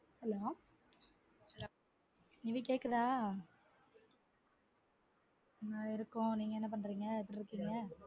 Hello Nivi கேக்குதா? உம் இருக்கோம். நீங்க என்ன பண்றீங்க ஆஹ் இருக்கோம் நீங்க என்ன பண்ணுரிங்க எப்படி இருக்கீங்க?